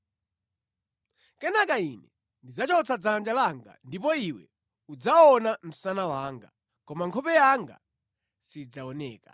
Kenaka ine ndidzachotsa dzanja langa ndipo iwe udzaona msana wanga, koma nkhope yanga sidzaoneka.”